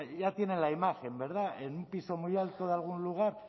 ya tienen la imagen verdad en un piso muy alto de algún lugar